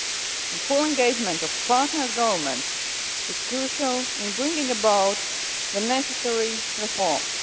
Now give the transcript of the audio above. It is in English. The full engagement of partners' governments is crucial in bringing about the necessary reforms.